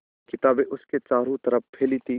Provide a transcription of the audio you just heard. किताबें उसके चारों तरफ़ फैली थीं